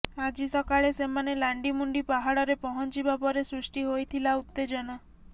ଆଜି ସକାଳେ ସେମାନେ ଲାଣ୍ଡିମୁଣ୍ଡି ପାହାଡ଼ରେ ପହଞ୍ଚିବା ପରେ ସୃଷ୍ଟି ହୋଇଥିଲା ଉତ୍ତେଜନା